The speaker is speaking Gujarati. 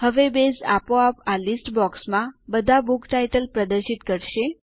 હવે બેઝ આપોઆપ આ લીસ્ટ બોક્સમાં બધા બુક ટાઇટલ પ્રદર્શિત કરશે